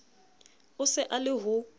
o se a le ho